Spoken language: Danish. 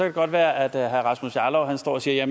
det godt være at herre rasmus jarlov står og siger at